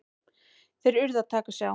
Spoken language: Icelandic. Þeir urðu að taka sig á!